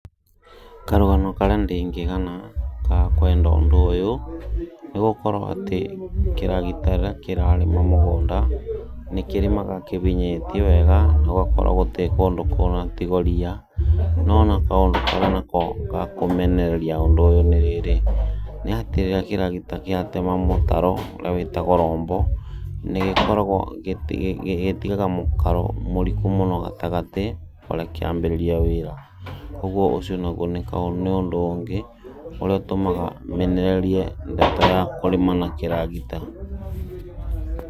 Karũgano karĩa ndĩngĩgana ga kwenda ũndũ ũyũ nĩgũkorwo atĩ kĩragita rĩrĩa kĩrarĩma mũgũnda nĩkĩrĩmaga kĩbinyĩtie wega gũgakorwo gũtĩ kũndũ kũnatigo riia no na kaũndũ karĩa nako gakũmenereria ũndũ ũyũ nĩ rĩrĩ nĩ atĩ rĩrĩa kĩragita gĩatema mũtaro ũrĩa wĩtagwo rombo nĩgĩkoragwo gĩtigaga mũkaro mũriku mũno gatagati barĩa kĩambĩrĩria wĩra ũguo ũcio naguo nĩ ũndũ ũngĩ ũrĩa ũtũmaga menererie ndeto ya kũrĩma na kĩragita.